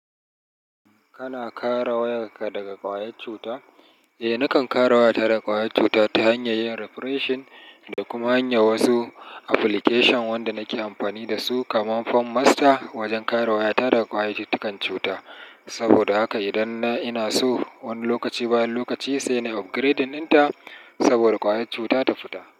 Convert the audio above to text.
Kana kara wayarka daga ƙwayar cuta? Eh, nakan kara wayata daga ƙwayar cuta ta hanyar yin refreshing da kuma hanyar wasu application wanda nake amfani da su, kamar PhoneMaster wajen kare wayata daga ƙwayayyun cuta. Saboda haka idan ina so wani lokaci bayan lokaci sai na upgrading ɗinta saboda ƙwayar cuta ta fita.